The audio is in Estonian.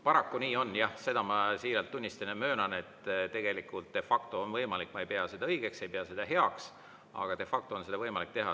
Paraku nii on, jah, seda ma siiralt tunnistan ja möönan, et tegelikult de facto on võimalik, ma ei pea seda õigeks, ei pea seda heaks, aga de facto on seda võimalik teha.